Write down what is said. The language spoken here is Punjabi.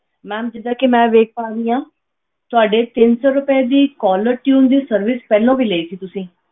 Ma'am ਜਿੱਦਾਂ ਕਿ ਮੈਂ ਵੇਖ ਪਾ ਰਹੀ ਹਾਂ ਤੁਹਾਡੇ ਤਿੰਨ ਸੌ ਰੁਪਏ ਦੀ caller tune ਦੀ service ਪਹਿਲਾਂ ਵੀ ਲਈ ਸੀ ਤੁਸੀਂ।